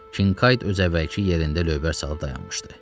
Qinkayt öz əvvəlki yerində lövbər salıb dayanmışdı.